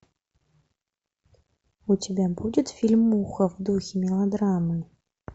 у тебя будет фильмуха в духе мелодрамы